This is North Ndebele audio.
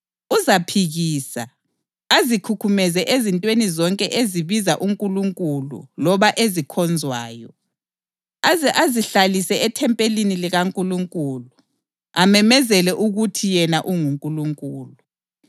Uzaphikisa, azikhukhumeze ezintweni zonke ezibiza uNkulunkulu loba ezikhonzwayo, aze azihlalise ethempelini likaNkulunkulu, amemezele ukuthi yena unguNkulunkulu.